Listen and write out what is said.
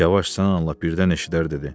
Yavaş danış, lap birdən eşidər dedi.